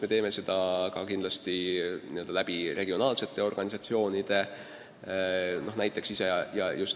Me teeme seda ka kindlasti regionaalsete organisatsioonide kaudu.